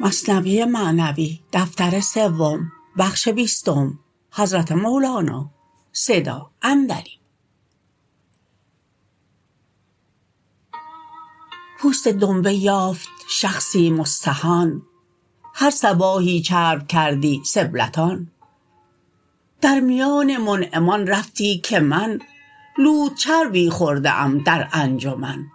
پوست دنبه یافت شخصی مستهان هر صباحی چرب کردی سبلتان در میان منعمان رفتی که من لوت چربی خورده ام در انجمن